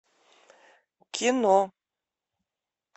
кино